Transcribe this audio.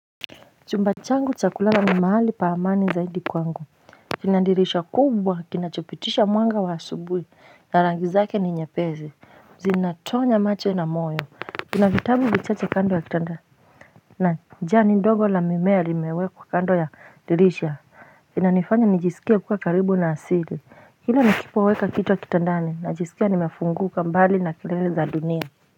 Chumbachangu chakulala ni mahali paamani zaidi kwangu kina dirisha kubwa kinachopitisha mwanga wa asubuhi na rangi zake ni nyepesi Zinatonya macho na moyo Kuna vitabu vichache kando ya kitanda na jani ndogo la mimea limewe kwa kando ya dirisha kina nifanya nijisikie kuwa karibu na asili Hilo nakipoweka kichwa kitandani na nijisikia nimefunguka mbali na kelele za dunia.